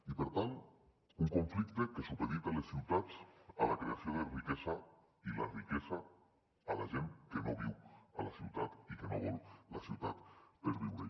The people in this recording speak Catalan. i per tant un conflicte que supedita les ciutats a la creació de riquesa i la riquesa a la gent que no viu a la ciutat i que no vol la ciutat per viure hi